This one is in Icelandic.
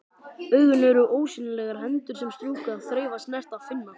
Augun eru ósýnilegar hendur sem strjúka, þreifa, snerta, finna.